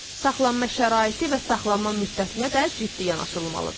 Saxlanma şəraiti və saxlanma müddətinə də ciddi yanaşılmalıdır.